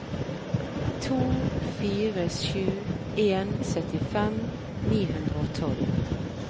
to fire sju en syttifem ni hundre og tolv